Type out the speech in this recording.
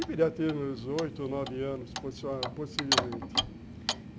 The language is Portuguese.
E viria a ter uns oito ou nove anos, possivelmente.